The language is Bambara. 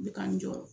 Bɛ k'an jɔ